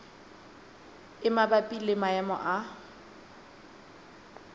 e mabapi le maemo a